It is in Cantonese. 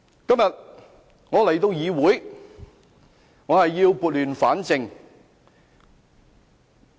今天，我到議會要撥亂反正。